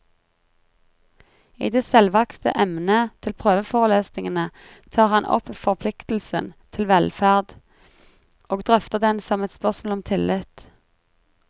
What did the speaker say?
I det selvvalgte emnet til prøveforelesningene tar han opp forpliktelsen til velferd, og drøfter den som et spørsmål om tillit.